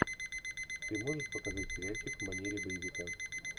ты можешь показать сериальчик в манере боевика